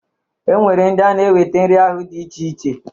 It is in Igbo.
E nwere ndị na-eweta nri ahụ dị iche iche.